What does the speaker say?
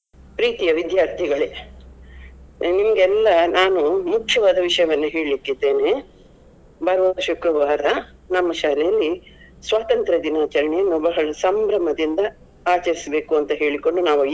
ಪ್ರೀತಿಯ ವಿದ್ಯಾರ್ಥಿಗಳೇ ನಿಮಗೆಲ್ಲಾ ನಾನು ಮುಖ್ಯವಾದ ವಿಷಯವನ್ನು ಹೇಳ್ಲಿಕ್ಕಿದ್ದೇನೆ. ಬರುವ ಶುಕ್ರವಾರ ನಮ್ಮ ಶಾಲೆಯಲ್ಲಿ ಸ್ವತಂತ್ರ ದಿನಾಚರಣೆಯನ್ನು ಬಹಳ ಸಂಭ್ರಮದಿಂದ ಆಚರಿಸ್ಬೇಕು ಅಂತ ಹೇಳಿಕೊಂಡು ನಾವು.